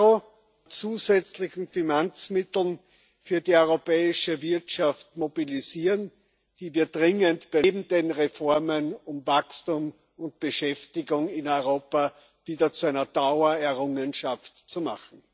EUR an zusätzlichen Finanzmitteln für die europäische Wirtschaft mobilisieren, die wir neben den Reformen dringend benötigen, um Wachstum und Beschäftigung in Europa wieder zu einer Dauererrungenschaft zu machen.